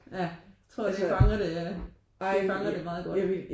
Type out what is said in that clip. Ja jeg tro det fanger det det fanger det meget godt